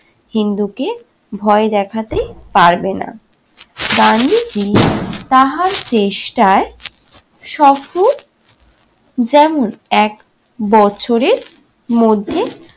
হিন্দুকে ভয় দেখতে পারবে না। গান্ধীজি তাহার চেষ্টায় সফল যেন এক বছরের মধ্যে